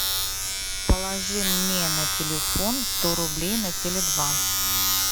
положи мне на телефон сто рублей на теле два